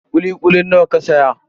Kuli kulin nawa ka saya?